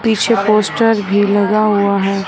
पीछे पोस्टर भी लगा हुआ है।